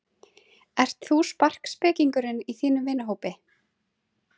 Ert þú sparkspekingurinn í þínum vinahópi?